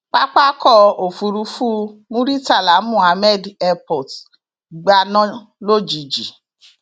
pápákọ òfurufú murità muhammed airport gbaná lójijì